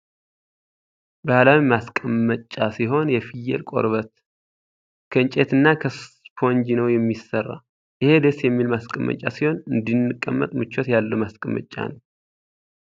ባህላዊ ማስቀመጫ ሲሆን የፍየል ቆርበት ፣ ከእንፀይት እና ከስፖንጂ ነው የሚሰራ። ኢሄ ደስ የሚል ማስቀመጫ ሲሆን እንዲንቀመጥ ምቸት ያለው ማስቀመጫ ነው።